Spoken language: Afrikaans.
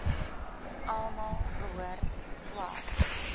almal behoort swart